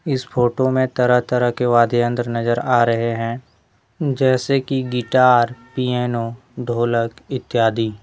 इस फोटो में तरह तरह के वाद्य यंत्र नजर आ रहे हैं जैसे कि गिटार पियानो ढोलक इत्यादि।